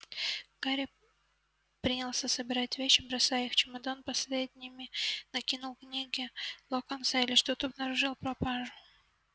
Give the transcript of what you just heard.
гарри принялся собирать вещи бросая их в чемодан последними закинул книги локонса и лишь тут обнаружил пропажу